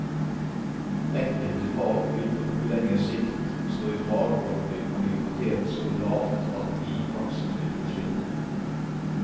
Enkelte fag vil på noe lengre sikt stå i fare for å bli prioritert så lavt at de i praksis vil forsvinne.